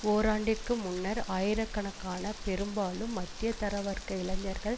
ஓராண்டிற்கு முன்னர் ஆயிரக்கணக்கான பெரும்பாலும் மத்திய தர வர்க்க இளைஞர்கள்